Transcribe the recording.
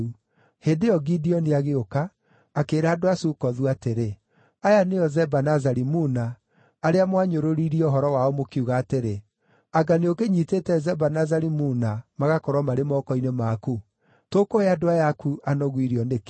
Hĩndĩ ĩyo Gideoni agĩũka, akĩĩra andũ a Sukothu atĩrĩ, “Aya nĩo Zeba na Zalimuna, arĩa mwanyũrũrĩirie ũhoro wao, mũkiuga atĩrĩ, ‘Anga nĩũkĩnyiitĩte Zeba na Zalimuna magakorwo marĩ moko-inĩ maku? Tũkũhe andũ aya aku anogu irio nĩkĩ?’ ”